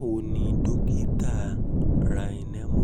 báwo ni dókítà